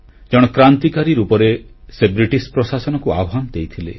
ଜଣେ କ୍ରାନ୍ତିକାରୀ ରୂପରେ ସେ ବ୍ରିଟିଶ ପ୍ରଶାସନକୁ ଆହ୍ୱାନ ଦେଇଥିଲେ